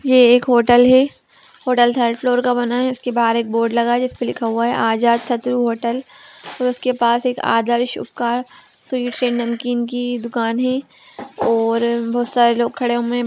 ये एक होटल है होटल थर्ड फ्लोर का बना है उसके बाहर एक बोर्ड लगा है जिस पे लिखा है आजाद शत्रु होटल उसके पास एक आदर्श स्वीट्स एंड नमकीन का दुकान है और बहुत सारे लोग खड़े हुए हैं।